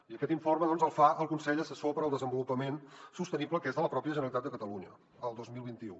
i aquest informe el fa el consell assessor per al desenvolupament sostenible que és de la pròpia generalitat de catalunya el dos mil vint u